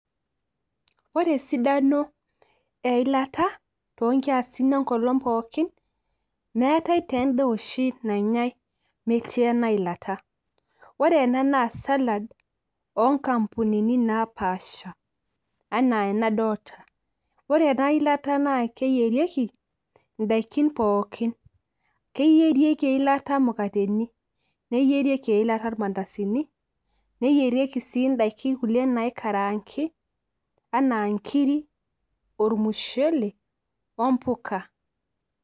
ore esidano eilata too nkiasin enkolong pookin. meetae taa eda oshi nanyae metii ena ilata. ore ena naa salad oo nkampunini naapasha. enaa enadoolta. ore ena ilata naa keyierieki idaikin pookin. keyierieki eilata mukateni, neyieriki eilata irmandasini, neyieriki sii idaikin kulie naikaraangi, anaa nkiri, ormushele, ompuka.